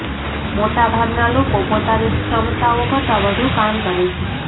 મોટાભાગના લોકો પોતાની ક્ષમતાઓ કરતા વધુ કામ કરે છે